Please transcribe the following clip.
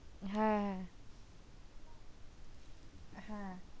হ্যাঁ।